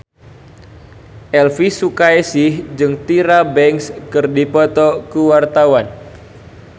Elvy Sukaesih jeung Tyra Banks keur dipoto ku wartawan